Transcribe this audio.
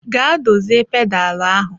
Gaa dozie pedal ahụ echi.